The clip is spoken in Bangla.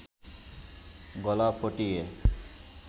গলা ফটিয়ে